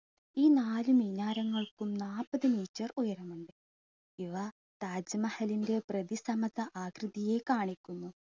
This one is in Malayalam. ഈ നാല് മിനാരങ്ങൾക്കും നാൽപത് meter നീളമുണ്ട്‌. ഇവ താജ്മഹലിൻ്റെ പ്രതിസമത്വ ആകൃതിയെ കാണിക്കുന്നു.